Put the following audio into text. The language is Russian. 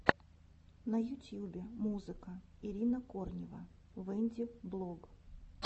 на ютьюбе музыка ирина корнева вэддинг блог